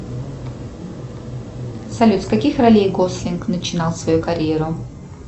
салют с каких ролей гослинг начинал свою карьеру